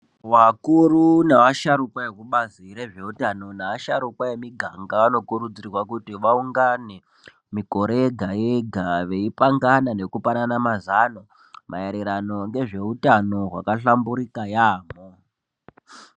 Vakuru nevasharukwa ekubazi rezveutano nasharukwa emiganga anokurudzirwa kuti vaungane mikore yega-yega, veipangana nekupanana mazano maererano ngezveutano hwakahlamburika yaamho.